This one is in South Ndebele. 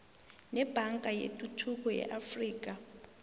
nebhanka yetuthuko yeafrika